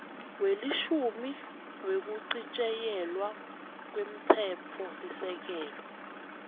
welishumi wekuchitjiyelwa kwemtsetfosisekelo